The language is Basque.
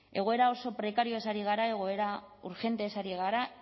egoera oso prekarioaz ari gara egoera urgentez ari gara